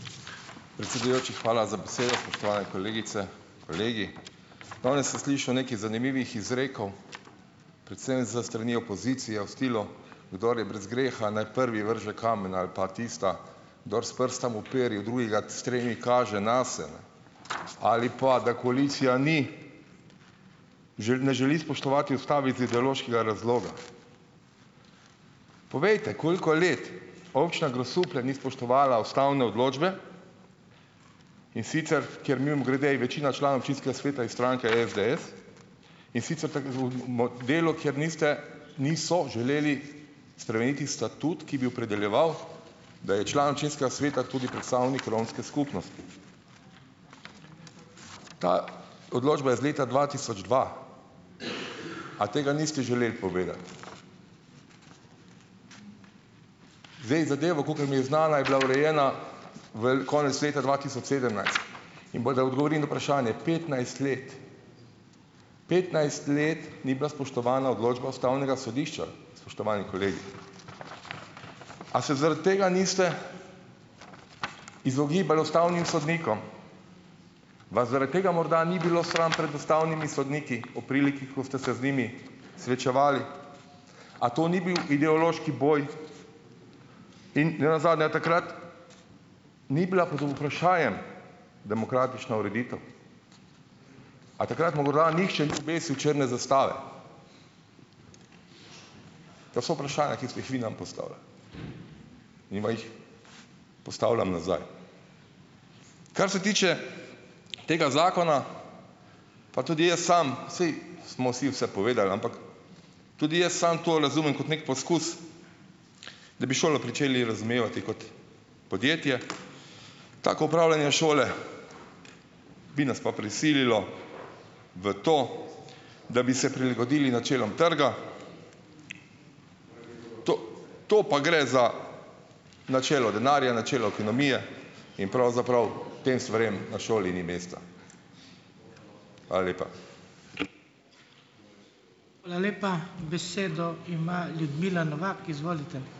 Predsedujoči, hvala za besedo. Spoštovane kolegice, kolegi! Danes sem slišal nekaj zanimivih izrekov, predvsem s strani opozicije v stilu "kdor je brez greha, naj prvi vrže kamen" ali pa tista "kdor s prstom uperi v drugega, s tremi kaže nase". Ali pa da koalicija ni ne želi spoštovati ustave iz ideološkega razloga. Povejte, koliko let občina Grosuplje ni spoštovala ustavne odločbe, in sicer ker mimogrede, je večina članov občinskega sveta iz stranke SDS, in sicer v delu, kjer niste, niso želeli spremeniti statut, ki bi opredeljeval, da je član občinskega sveta tudi predstavnik romske Ta odločba je iz leta dva tisoč dva. A tega niste želeli povedati. Zdaj zadevo, kakor mi je znana, je bila urejena konec leta dva tisoč In bolj, da odgovorim na vprašanje petnajst let, petnajst let ni bila spoštovana odločba ustavnega sodišča, spoštovani kolegi. A se zaradi tega niste izogibali ustavnim sodnikom? Vas zaradi tega morda ni bilo sram pred ustavnimi sodniki ob priliki, ko ste se z njimi srečevali? A to ni bil ideološki boj? In nenazadnje, a takrat ni bila pod v vprašajem demokratična ureditev? A takrat mu morda nihče ni obesil črne zastave? To so vprašanja, ki ste jih vi nam postavljali. In vam jih postavljam nazaj. Kar se tiče tega zakona, pa tudi jaz sam, saj smo vsi vse povedali, ampak tudi jaz samo to razumem kot neki poskus, da bi šolo pričeli razumevati kot podjetje. Tako upravljanje šole bi nas pa prisililo v to, da bi se prilagodili načelom trga to to pa gre za načelo denarja, načelo ekonomije in pravzaprav tem stvarem na šoli ni mesta. Hvala lepa.